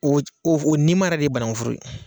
O nima Yɛrɛ de ye banankun foro ye.